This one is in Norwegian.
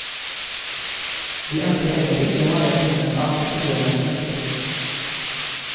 De ønsker heller ikke å være bundet av kundenes ønsker.